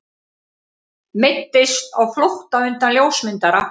Meiddist á flótta undan ljósmyndara